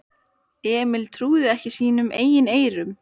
Emil trúði ekki sínum eigin eyrum.